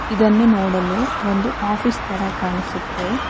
ಇದನ್ನು ನೋಡಲು ಒಂದು ಆಫೀಸ್ ತರ ಕಾಣಿಸುತ್ತೆ.